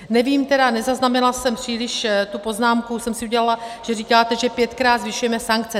Nevím tedy, nezaznamenala jsem příliš - tu poznámku jsem si udělala - že říkáte, že pětkrát zvyšujeme sankce.